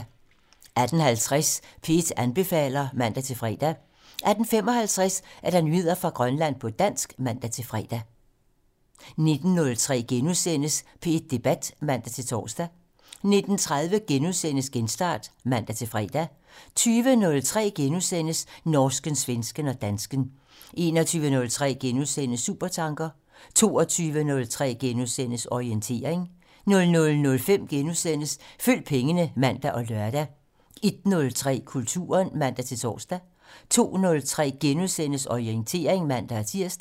18:50: P1 anbefaler (man-fre) 18:55: Nyheder fra Grønland på dansk (man-fre) 19:03: P1 Debat *(man-tor) 19:30: Genstart *(man-fre) 20:03: Norsken, svensken og dansken *(man) 21:03: Supertanker *(man) 22:03: Orientering *(man-søn) 00:05: Følg pengene *(man og lør) 01:03: Kulturen (man-tor) 02:03: Orientering *(man-tir)